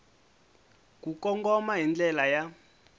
ku kongoma hi ndlela ya